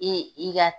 E i ka